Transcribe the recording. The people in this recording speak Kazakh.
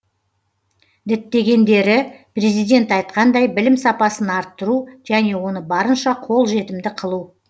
діттегендері президент айтқандай білім сапасын арттыру және оны барынша қолжетімді қылу